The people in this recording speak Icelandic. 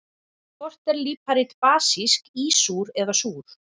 Hvort er líparít basísk, ísúr eða súr?